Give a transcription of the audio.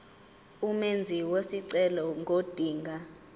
umenzi wesicelo ngodinga